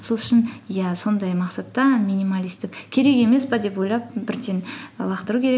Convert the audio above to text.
сол үшін иә сондай мақсатта минималистік керек емес пе деп ойлап бірден лақтыру керек